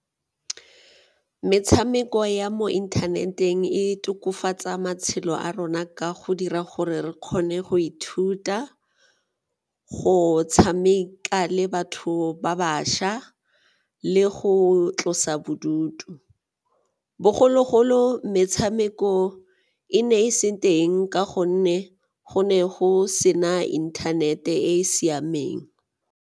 Metshameko ya mo internet-eng e tokafatsa matshelo a rona ka go dira gore re kgone go ithuta go tshameka le batho ba bašwa le go tlosa bodutu, bogologolo metshameko e ne e seng teng ka gonne go ne go sena internet-e e e siameng.